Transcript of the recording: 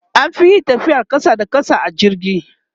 an Fi yin tafiyar ƙasa da ƙasa a jirgi